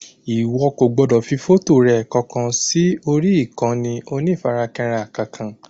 Ìwo kò gbọdọ̀ fi fọ́tò rẹ kankan sí orí ìkànnì onífarakínra kankan